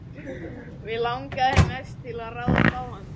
Mig langaði mest til að ráðast á hann.